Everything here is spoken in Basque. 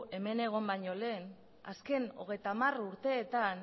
hemen egon baino lehen azken hogeita hamar urteetan